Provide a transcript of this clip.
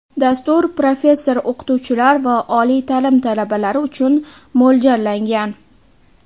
Dastur professor-o‘qituvchilar va oliy ta’lim talabalari uchun mo‘ljallangan.